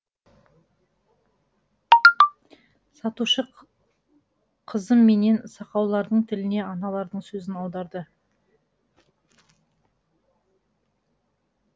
сатушы қызым менен сақаулардың тіліне аналардың сөзін аударды